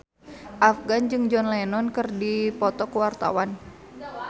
Afgan jeung John Lennon keur dipoto ku wartawan